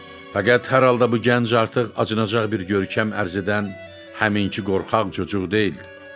Fəqət, hər halda bu gənc artıq acınacaq bir görkəm ərz edən həmin qorxaq çocuq deyildi.